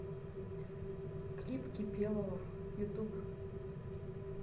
клип кипелова ютуб